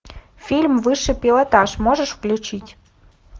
фильм высший пилотаж можешь включить